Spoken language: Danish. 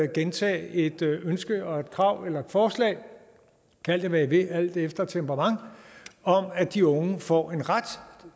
gentage et ønske og et krav eller et forslag kald det hvad i vil alt efter temperament om at de unge får en ret